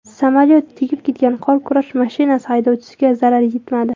Samolyot tegib ketgan qor kurash mashinasi haydovchisiga zarar yetmadi.